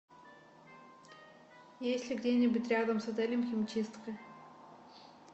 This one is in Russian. есть ли где нибудь рядом с отелем химчистка